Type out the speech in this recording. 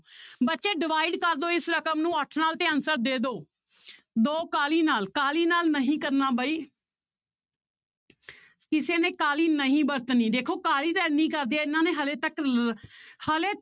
ਬੱਚੇ divide ਕਰ ਦਓ ਇਸ ਰਕਮ ਨੂੂੰ ਅੱਠ ਨਾਲ ਤੇ answer ਦੇ ਦਓ ਦੋ ਕਾਹਲੀ ਨਾਲ, ਕਾਹਲੀ ਨਾਲ ਨਹੀਂ ਕਰਨਾ ਬਾਈ ਕਿਸੇ ਨੇ ਕਾਹਲੀ ਨਹੀਂ ਵਰਤਣੀ ਦੇਖੋ ਕਾਹਲੀ ਤਾਂ ਇੰਨੀ ਕਰਦੇ ਆ ਇਹਨਾਂ ਨੇ ਹਾਲੇ ਤੱਕ ਲ~ ਹਾਲੇ